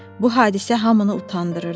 Bu hadisə hamını utandırırdı.